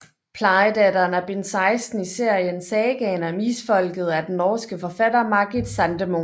Plejedatteren er bind 16 i serien Sagaen om Isfolket af den norske forfatter Margit Sandemo